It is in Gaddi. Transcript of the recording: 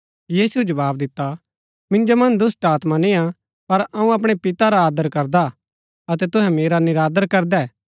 यीशुऐ जवाव दिता मिन्जो मन्ज दुष्‍टात्मा निय्आ पर अऊँ अपणै पिता रा आदर करदा अतै तूहै मेरा निरादर करदै